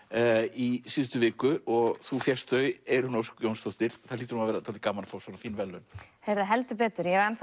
í síðustu viku þú fékkst þau Eyrún Ósk Jónsdóttir það hlýtur að vera dálítið gaman að fá svona fín verðlaun heldur betur ég er